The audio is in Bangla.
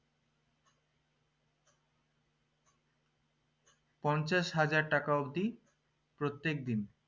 পঞ্চাশ হাজার টাকা অবদি প্রত্যেক দিন